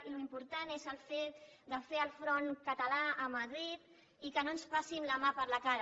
i l’important és el fet de fer el front català a madrid i que no ens passin la mà per la cara